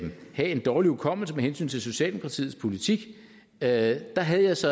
have en dårlig hukommelse med hensyn til socialdemokratiets politik da havde jeg så